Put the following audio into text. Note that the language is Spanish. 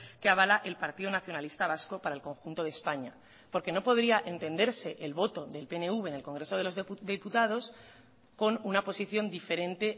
que avala el partido nacionalista vasco para el conjunto de españa porque no podría entenderse el voto del pnv en el congreso de los diputados con una posición diferente